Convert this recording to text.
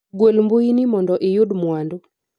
gwel mbui ni mondo iyud mwandu